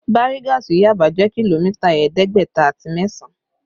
Bariga sí Yaba jẹ́ kìlómítà ẹ̀ẹ́dẹ́gbẹ̀ta àti mẹ́sàn